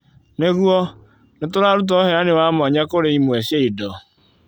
Nĩguo, nĩ tũraruta ũheani wa mwanya kũrĩ imwe cia indo,